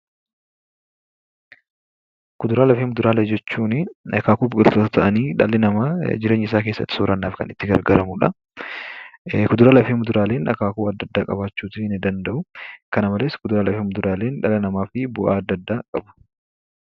Kuduraalee fi muduraalee jechuun akaakuu biqltootaa ta'anii dhalli namaa jireenya isaa keessatti soorannaaf kan itti gargaaramudha. Kuduraalee fi muduraaleen akaakuu adda addaa qabaachuu ni danda'u. Kana malees, dhala namaaf bu'aa adda addaa qabu.